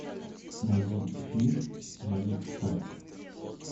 найди фильм манифест